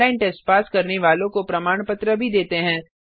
online test pass करने वालों को प्रमाण पत्र भी देते हैं